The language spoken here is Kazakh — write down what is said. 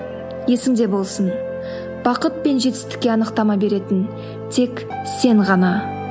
есіңде болсын бақыт пен жетістікке анықтама беретін тек сен ғана